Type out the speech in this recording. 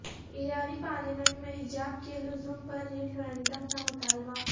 ایرانی پارلیمنٹ میںحجاب کے لزوم پر ریفرنڈم کا مطالبہ